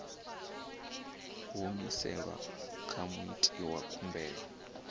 humiselwa kha muiti wa khumbelo